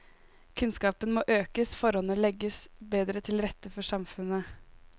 Kunnskapen må økes, forholdene legges bedre til rette i samfunnet.